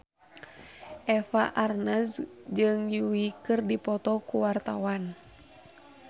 Eva Arnaz jeung Yui keur dipoto ku wartawan